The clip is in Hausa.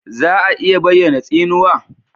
Za a iya bayyana tsinuwa?